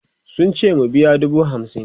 sun ce mu biya dubu hamsin